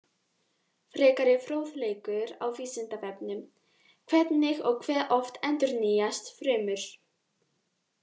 Frekari fróðleikur á Vísindavefnum: Hvernig og hve oft endurnýjast frumur?